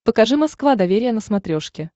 покажи москва доверие на смотрешке